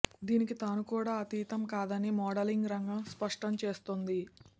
దీనికి తాను కూడా అతీతం కాదని మోడలింగ్ రంగం స్పష్టం చేస్తోంది